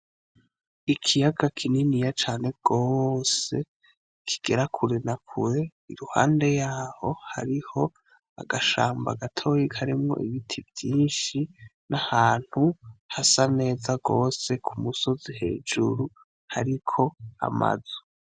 Ikiyaga kininiya cane gooose kigera kure nakure, iruhande yaho hariho agashamba gatoyi karimwo ibiti vyinshi, n'ahantu hasa neza gose ku musozi hejuru hariko amazu.